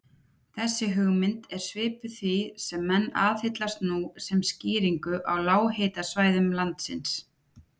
Þessi hugmynd er svipuð því sem menn aðhyllast nú sem skýringu á lághitasvæðum landsins.